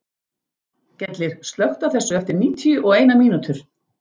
Gellir, slökktu á þessu eftir níutíu og eina mínútur.